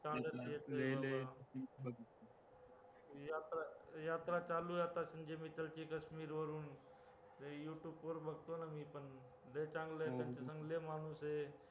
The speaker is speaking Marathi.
यात्रा, यात्रा चालू आहे आता जे मित्राची काश्मीरवरून youtube वर बघतो ना मीपण लय चांगलंय